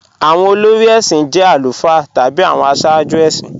Awọn olórí èṣin jẹ̀ alufáà tabi awọn àṣààjú èṣin